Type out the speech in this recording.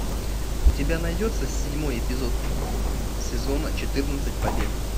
у тебя найдется седьмой эпизод сезона четырнадцать побег